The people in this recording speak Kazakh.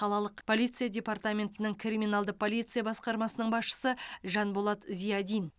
қалалық полиция департаментінің криминалды полиция басқармасының басшысы жанболат зиадин